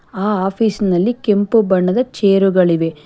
ಆ ಆಫೀಸ್ನಲ್ಲಿ ಕೆಂಪು ಬಣ್ಣದ ಚೇರುಗಳಿವೆ.